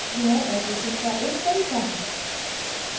यह addressing का एक तरीका है